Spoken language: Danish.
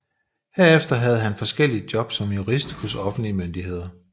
Herefter havde han forskellige job som jurist hos offentlige myndigheder